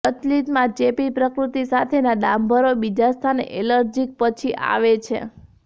પ્રચલિતમાં ચેપી પ્રકૃતિ સાથેના દાંભરો બીજા સ્થાને એલર્જિક પછી આવે છે